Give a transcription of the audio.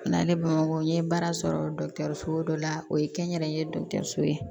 O n'a ne bamuso n ye baara sɔrɔ so dɔ la o ye kɛnyɛrɛye dɔgɔtɔrɔ ye